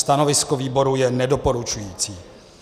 Stanovisko výboru je nedoporučující.